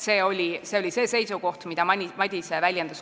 See oli see seisukoht, mida Madise komisjonis väljendas.